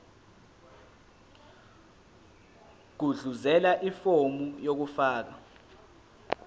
gudluzela ifomu lokufaka